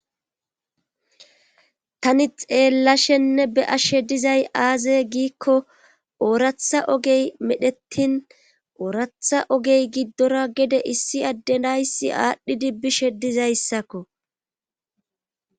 tani xeellashenne be ashshe dizay aaze giikko ooratha ogey medhettin ooratha ogey giddora gede issi addedayssi aadhdhidi bishe dizayssakko